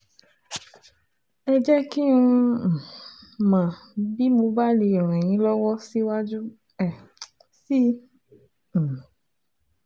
Ẹ jẹ́ kí um n mọ̀ bí mo bá lè ràn yín lọ́wọ́ síwájú um sí i um